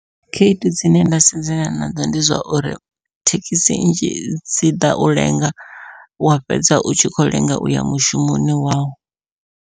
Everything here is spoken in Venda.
Khaedu dzine nda sedzana nadzo ndi zwa uri thekhisi nnzhi dzi ḓa u lenga wa fhedza u tshi kho lenga uya mushumoni wau.